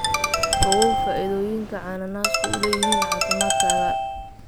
Ogow faa'iidooyinka cananaaska u leeyahay caafimaadkaaga